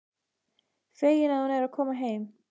Fegin að hún er að koma heim.